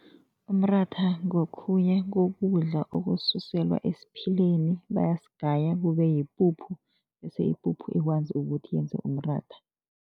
Umratha ngokhunye kokudla okususelwa esiphileni, bayasigaya kube yipuphu bese ipuphu ikwazi ukuthi yenze umratha.